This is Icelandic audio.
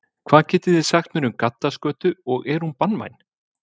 Hvað getið þið sagt mér um gaddaskötu og er hún banvæn?